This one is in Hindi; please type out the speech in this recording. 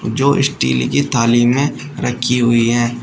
जो स्टील की थाली में रखी हुई हैं।